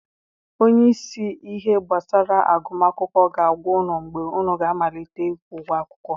Onye isi ihe gbasara agụm akwụkwọ ga-agwa unu mgbe unu ga-amalite ịkwụ ụgwọ akwụkwọ.